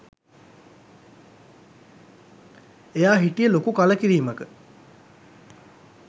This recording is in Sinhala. එයා හිටියෙ ලොකු කලකිරීමක.